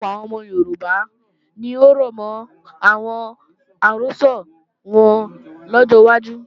Ọ̀pọ̀lọpọ̀ àwọn ọmọ Yorùbá ni ó rọ̀mọ́ àwọn àrọ́sọ wọn lọ́jọ́ wájú